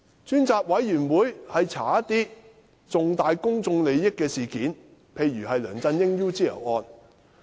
專責委員會旨在調查涉及重大公眾利益的事件，例如梁振英的 UGL 案件。